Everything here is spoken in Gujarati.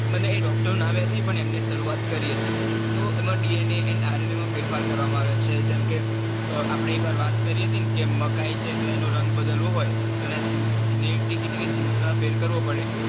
મને એ doctor નું નામ યાદ નઈ પણ. એમને શરૂઆત કરી હતી તો એમને DNA અને RNA માં ફેરફાર કરવામાં આવે છે. જેમ કે આપણે એક વાર વાત કરી હતી ને મકાઈ છે. તો એનો રંગ બદલવો હોય તો એના genetic એટલે કે genes માં ફેર કરવો પડે.